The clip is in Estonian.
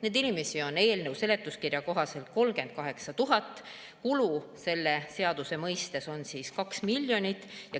Neid inimesi on eelnõu seletuskirja kohaselt 38 000 ja kulu selle seaduse mõistes on 2 miljonit.